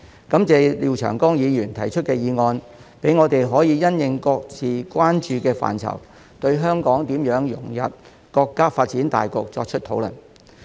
感謝廖長江議員提出議案，讓我們可因應各自關注的範疇，對香港如何融入國家發展大局作出討論。